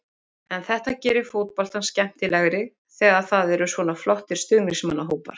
En þetta gerir fótboltann skemmtilegri þegar það eru svona flottir stuðningsmannahópar.